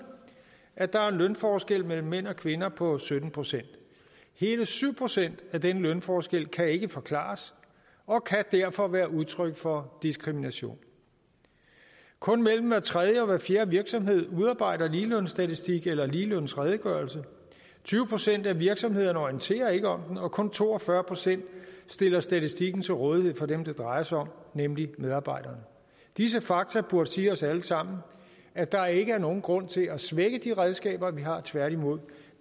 at der er en lønforskel mellem mænd og kvinder på sytten procent hele syv procent af den lønforskel kan ikke forklares og kan derfor være udtryk for diskrimination kun mellem hver tredje og hver fjerde virksomhed udarbejder en ligelønsstatistik eller en ligelønsredegørelse tyve procent af virksomhederne orienterer ikke om den og kun to og fyrre procent stiller statistikken til rådighed for dem det drejer sig om nemlig medarbejderne disse fakta burde sige os alle sammen at der ikke er nogen grund til at svække de redskaber vi har tværtimod